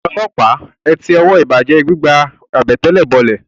Ẹ̀yin ọlọ́pàá, ẹ ti ọwọ́ ìbàjẹ́ ẹ gbígba àbẹ̀tẹ̀lẹ̀ bọlẹ̀!